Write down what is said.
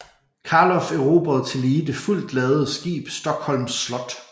Carlof erobrede tillige det fuldt ladede skib Stockholms Slott